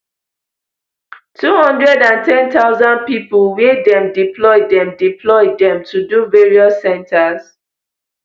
two hundred and ten thousand pipo wia dem deploy dem deploy dem to do various centres